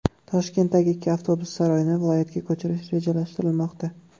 Toshkentdagi ikki avtobus saroyini viloyatga ko‘chirish rejalashtirilmoqda.